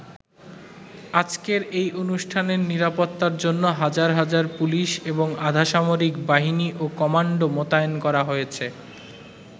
আজকের এই অনুষ্ঠানের নিরাপত্তার জন্য হাজার হাজার পুলিশ এবং আধা সামরিক বাহিনী ও কমান্ডো মোতায়েন করা হয়েছে।